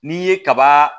N'i ye kaba